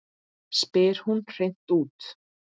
spyr hún hreint út.